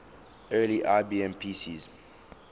early ibm pcs